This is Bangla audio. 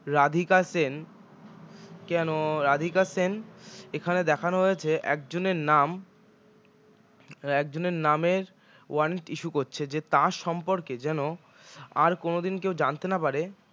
রাধিকা সেন কেন রাধিকা সেন এখানে দেখানো হয়েছে একজনের নাম একজনের নামের warrant issue করছে যে তার সম্পর্কে যেন আর কোনওদিন কেউ জানতে না পারে